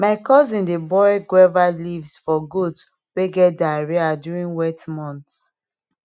my cousin dey boil guava leaves for goat wey get diarrhea during wet months